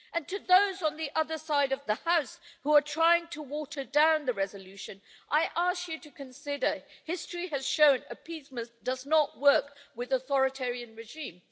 As for those on the other side of the House who are trying to water down the resolution, I ask you to consider history has shown that appeasement does not work with an authoritarian regime.